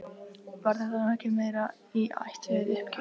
Var þetta nú ekki meira í ætt við uppgjöf?